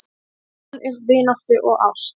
Sem fann upp vináttu og ást